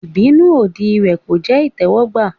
Ìbínú òdì rẹ̀ kò jẹ́ ìtẹ́wọ́gbà.